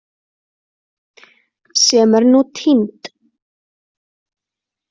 Sem er nú týnd.